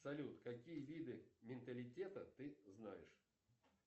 салют какие виды менталитета ты знаешь